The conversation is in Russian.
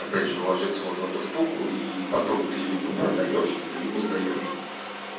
опять же вложиться вот в эту штуку и потом ты либо продаёшь либо сдаёшь